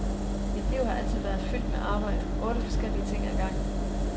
Mit liv har altid været fyldt med arbejde, otte forskellige ting ad gangen.